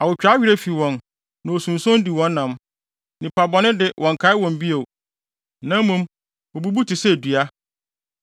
Awotwaa werɛ fi wɔn, na osunson di wɔn nam; nnipa bɔne de wɔnnkae wɔn bio na mmom wobubu te sɛ dua.